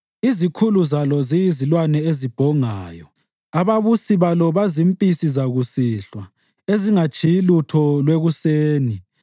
Izikhulu zalo ziyizilwane ezibhongayo, ababusi balo bazimpisi zakusihlwa, ezingatshiyi lutho lwekuseni.